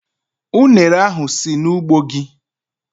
Ụnere ahu si n'ugbo gi?